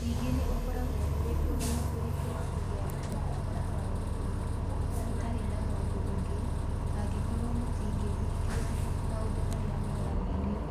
Ningĩ nĩ ũkoragwo ũrĩ ũndũ mũritũ kũgĩa na ũkuruhanu wa gũtũũra mũtarĩ na mũndũ ũngĩ, angĩkorũo mũtingĩhingia maũndũ marĩa mweranĩire.